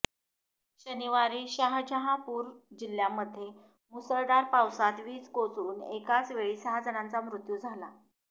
शनिवारी शाहजहापूर जिल्ह्यामध्ये मुसळधार पावसात वीज कोसळून एकाचवेळी सहा जणांचा मृत्यू झाला